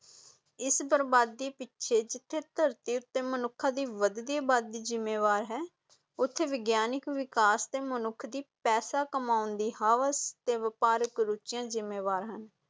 ਇਸ ਬਰਬਾਦੀ ਪਿੱਛੇ ਜਿੱਥੇ ਧਰਤੀ ਉੱਤੇ ਮਨੁੱਖਾਂ ਦੀ ਵਧਦੀ ਆਬਾਦੀ ਜਿੰਮੇਵਾਰ ਹੈ, ਉੱਥੇ ਵਿਗਿਆਨਿਕ ਵਿਕਾਸ ਅਤੇ ਮਨੁੱਖ ਦੀ ਪੈਸਾ ਕਮਾਉਣ ਦੀ ਹਵਸ ਅਤੇ ਵਪਾਰਕ ਰੁਚੀਆਂ ਜਿੰਮੇਵਾਰ ਹਨ।